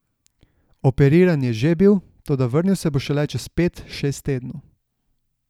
Operiran je že bil, toda vrnil se bo šele čez pet, šest tednov.